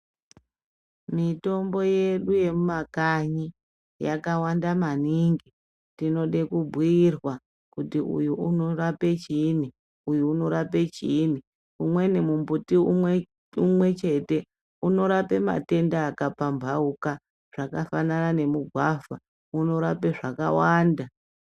Mitombo yedu yemumakanyi yakawanda maningi tinoda kubhiirwa kuti uyu unorape chiini uyu unorape chiini umweni mumbuti umwe chete unorape matenda akapambauka akafanana nemugwavha unorape zvakawanda.